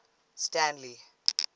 stanley